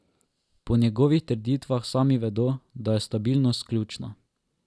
Po njegovih trditvah sami vedo, da je stabilnost ključna.